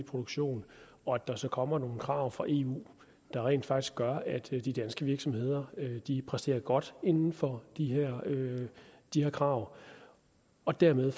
produktion og at der så kommer nogle krav fra eu der rent faktisk gør at de danske virksomheder præsterer godt inden for de her krav og dermed